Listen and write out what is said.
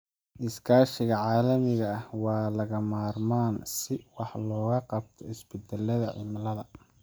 Iskaashiga caalamiga ah waa lagama maarmaan si wax looga qabto isbedelada cimilada.